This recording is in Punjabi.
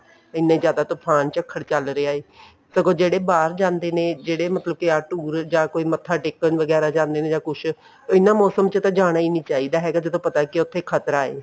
ਇੰਨੇ ਜ਼ਿਆਦਾ ਤੁਫਾਨ ਝੱਖੜ ਚੱਲ ਰਹੇ ਨੇ ਸਗੋਂ ਜਿਹੜੇ ਬਾਹਰ ਜਾਂਦੇ ਨੇ ਜਿਹੜੇ ਮਤਲਬ ਕੇ ਆਹ tour ਜਾਂ ਕੋਈ ਮੱਥਾ ਟੇਕਣ ਵਗੈਰਾ ਜਾਂਦੇ ਨੇ ਜਾਂ ਕੁੱਝ ਇਹਨਾ ਮੋਸਮ ਚ ਤਾਂ ਜਾਣਾ ਹੀ ਨੀ ਚਾਹੀਦਾ ਜਦੋਂ ਪਤਾ ਹੈ ਕੇ ਉੱਥੇ ਖਤਰਾ ਹੈ